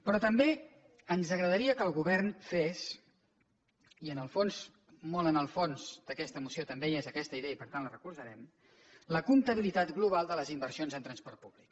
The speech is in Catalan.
però també ens agradaria que el govern fes i en el fons molt en el fons d’aquesta moció també hi és aquesta idea i per tant la recolzarem la comptabilitat global de les inversions en transport públic